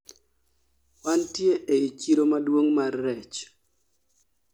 wantie ei chiro maduong' mar rech